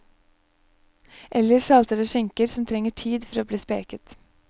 Eller saltede skinker som trenger tid for å bli speket.